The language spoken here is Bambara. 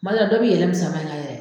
Badala dɔ bɛ yɛlɛ minsɛnmana yɛrɛ.